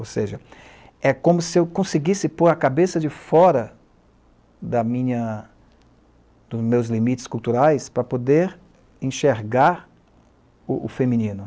Ou seja, é como se eu conseguisse pôr a cabeça de fora da minha... dos meus limites culturais para poder enxergar o feminino.